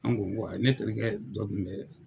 An ko ko ayi ne terikɛ dɔ kun bɛ